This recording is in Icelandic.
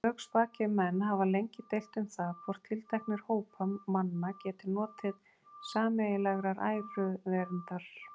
Lögspakir menn hafa lengi deilt um það, hvort tilteknir hópar manna geti notið sameiginlegrar æruverndar.